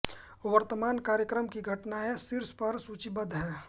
वर्तमान कार्यक्रम की घटनाएं शीर्ष पर सूचीबद्ध हैं